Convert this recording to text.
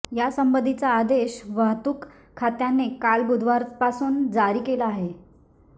या संबंधीचा आदेश वहतुक खात्याने काल बुधवारपासून जारी केला आहे